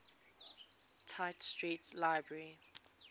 tite street library